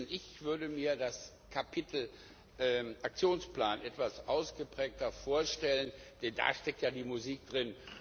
Ich würde mir das Kapitel Aktionsplan etwas ausgeprägter vorstellen, denn da steckt ja die Musik drin.